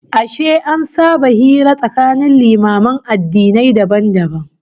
Ashe an saba hira tsakanin limaman addinai dabam dabam?